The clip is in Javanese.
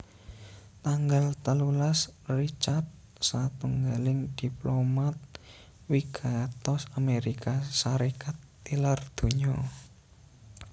Tanggal telulas Richard satunggaling diplomat wigatos Amérika Sarékat tilar donya